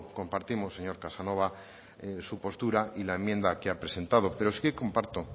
compartimos señor casanova su postura y la enmienda que ha presentado pero sí comparto